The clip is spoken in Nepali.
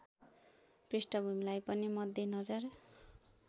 पृष्ठभूमिलाई पनि मध्यनजर